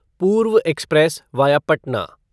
पूर्व Express via Patna